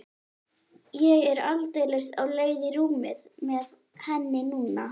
Ég er aldeilis á leið í rúmið með henni núna.